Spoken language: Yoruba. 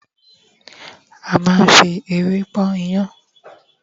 a ma n fi ewé pọn iyán